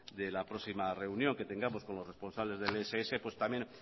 de la próxima reunión que tengamos con los responsables del ess también